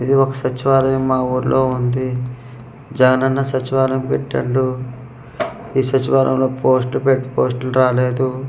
ఇది ఒక సచివాలయం మా ఊర్లో ఉంది జాన్ అన్న సచివాలయం పెట్టిండు ఈ సచివాలయంలో పోస్టు పెట్ పోస్టులు రాలేదు.